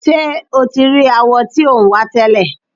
Ṣé o ti rí awọ tí ò ń wá tẹ́lẹ̀?